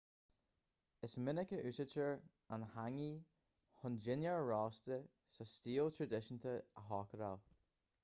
is minic a úsáidtear an hangi chun dinnéar rósta sa stíl traidisiúnta a chócaráil